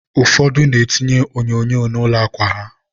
ụfọdụ na-etinye onyonyo na ụlọ akwa ha.